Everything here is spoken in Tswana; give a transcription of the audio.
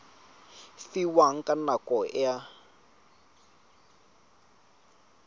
fiwang ka nako e a